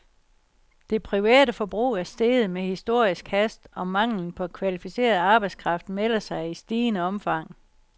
Det private forbrug er steget med historisk hast, og manglen på kvalificeret arbejdskraft melder sig i stigende omfang.